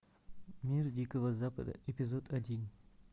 мир дикого запада эпизод один